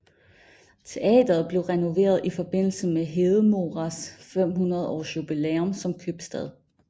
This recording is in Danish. Teateret blev renoveret i forbindelse med Hedemoras 500 års jubilæum som købstad